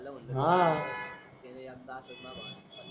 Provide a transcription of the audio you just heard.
त्याला म्हणल मी आह त्याला एक दातच नोव्हता